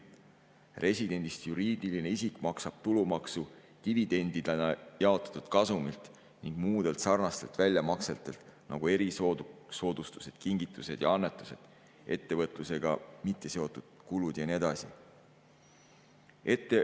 Residendist juriidiline isik maksab tulumaksu dividendidena jaotatud kasumilt ning muudelt sarnastelt väljamaksetelt, nagu erisoodustused, kingitused ja annetused, ettevõtlusega mitteseotud kulud ja nii edasi.